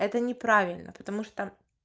это неправильно потому что